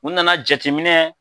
U nana jatiminɛ